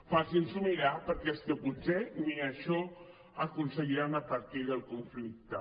facin s’ho mirar perquè és que potser ni això aconseguiran a partir del conflicte